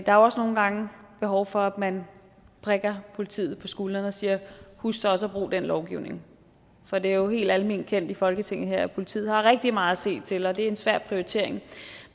er også nogle gange behov for at man prikker politiet på skulderen og siger husk så også at bruge den lovgivning for det er jo helt alment kendt i folketinget her at politiet har rigtig meget at se til og det er en svær prioritering